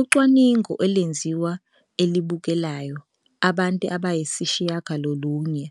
Ucwaningo olwenziwa e-elibukelayo abantu abayisishiyagalolunye